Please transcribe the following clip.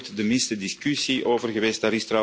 Daar is nooit de minste discussie over geweest.